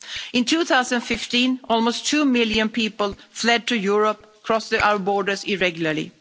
In 2015, almost two million people fled to Europe and crossed our borders irregularly.